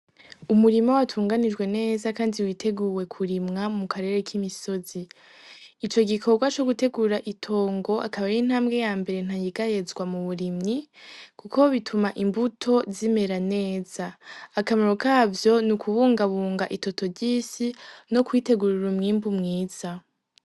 Umurimo w atunganijwe neza, kandi witeguwe kurimwa mu karere k'imisozi ico gikorwa co gutegurra itongo akabar'intambwe ya mbere ntangigayezwa mu burimyi, kuko bituma imbuto zimera neza akamaro kavyo ni ukubungabunga itoto ry'isi no kwitegurura umwimbu mwiza.